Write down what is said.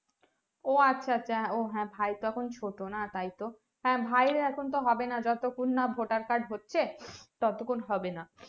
ও আচ্ছা আচ্ছা ওহ হা ভাই তো এখন ছোট না তাই তো হ্যাঁ ভাই এর তো এখন হবেনা যতক্ষণ না voter card হচ্ছে ততক্ষন হবেনা